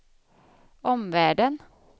omvärlden